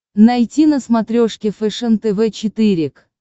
найти на смотрешке фэшен тв четыре к